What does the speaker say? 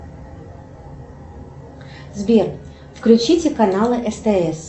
сбер включите каналы стс